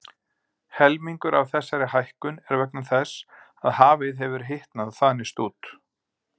Helmingur af þessari hækkun er vegna þess að hafið hefur hitnað og þanist út.